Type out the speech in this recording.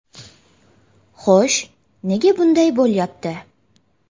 Xo‘sh, nega shunday bo‘lyapti?